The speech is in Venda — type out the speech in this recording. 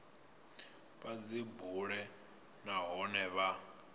vha dzi bule nahone vha